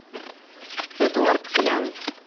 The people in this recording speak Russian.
эдуард клян